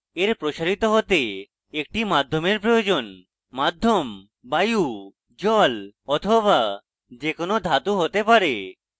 এর প্রসারিত হতে একটি মাধ্যমের প্রয়োজন মাধ্যম বায়ু জল be the কোনো ধাতু হতে পারে